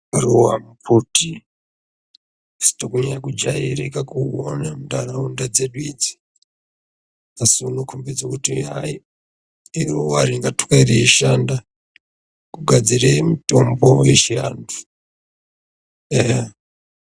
Ruwa kuti sitonyanya kujairika muntaraunda dzedu idziasi unokhombidze kuti hai iruwa ringatwe reishanda kugadzire mitombo yechiantu eya.